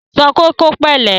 Sọ pé kó pẹ̀lẹ́!